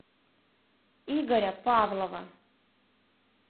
игоря павлова